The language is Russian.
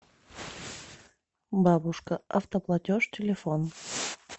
бабушка автоплатеж телефон